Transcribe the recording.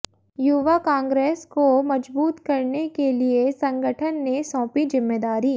युवा कांग्रेस को मजबूत करने के लिए संगठन ने सौंपी जिम्मेदारी